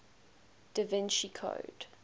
da vinci code